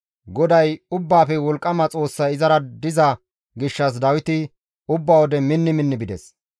GODAY Ubbaafe Wolqqama Xoossay izara diza gishshas Dawiti ubba wode minni minni bides.